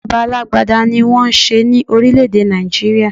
Ìjọba alágbádá ní wọ́n n ṣe ní orílè èdè Nigeria.